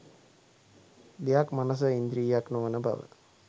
දෙයක් මනස ඉන්ද්‍රියක් නොවන බව